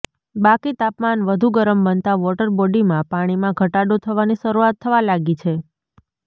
બાકી તાપમાન વધુ ગરમ બનતા વોટર બોડીમાં પાણીમાં ઘટાડો થવાની શરૂઆત થવા લાગી છે